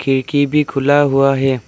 खिड़की भी खुला हुआ है।